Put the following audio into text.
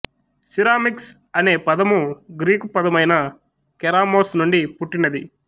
ceramics అనే పదము Greek ప్రథమైన కేరామోస్ నుండి పుట్టినది